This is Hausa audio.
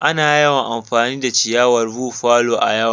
Ana yawan amfani da ciyawan buffalo a'lawn.